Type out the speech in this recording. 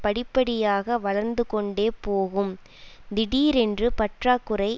படிப்படியாக வளர்ந்து கொண்டே போகும் திடீரென்று பற்றாக்குறை